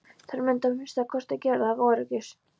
Þær mundu að minnsta kosti gera það ef öryggis